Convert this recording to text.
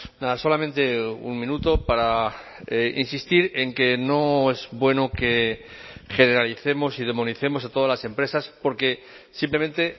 nada solamente un minuto para insistir en que no es bueno que generalicemos y demonicemos a todas las empresas porque simplemente